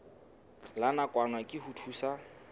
la nakwana ke ho thusa